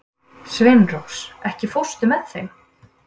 Sveinrós, ekki fórstu með þeim?